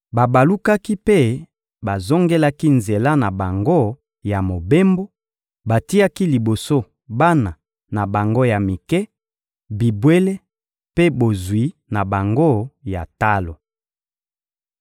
Babalukaki mpe bazongelaki nzela na bango ya mobembo, batiaki liboso bana na bango ya mike, bibwele mpe bozwi na bango ya talo.